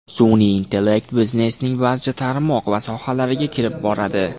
Sun’iy intellekt biznesning barcha tarmoq va sohalariga kirib boradi.